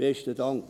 Besten Dank.